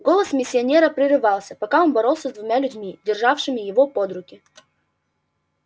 голос миссионера прерывался пока он боролся с двумя людьми державшими его под руки